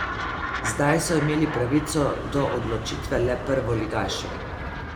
Zdaj so imeli pravico do odločitve le prvoligaši.